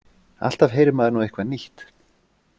Alltaf heyrir maður nú eitthvað nýtt.